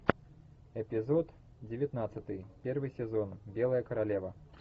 эпизод девятнадцатый первый сезон белая королева